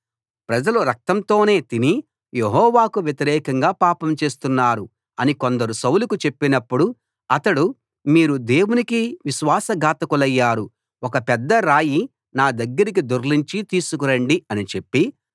ప్రజలు రక్తంతోనే తిని యెహోవాకు వ్యతిరేకంగా పాపం చేస్తున్నారు అని కొందరు సౌలుకు చెప్పినప్పుడు అతడు మీరు దేవునికి విశ్వాస ఘాతకులయ్యారు ఒక పెద్ద రాయి నా దగ్గరకి దొర్లించి తీసుకురండి అని చెప్పి